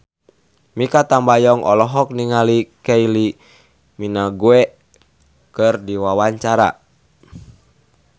Mikha Tambayong olohok ningali Kylie Minogue keur diwawancara